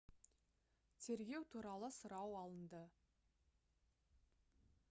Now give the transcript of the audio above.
тергеу туралы сұрау алынды